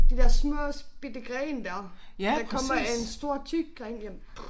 De der små bitte grene der. Der kommer en stor tyk gren hjem